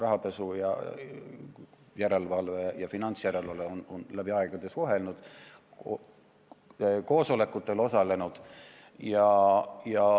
Rahapesu järelevalve ja finantsjärelevalve on läbi aegade suhelnud, koosolekutel osalenud.